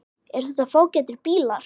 Eru þetta fágætir bílar?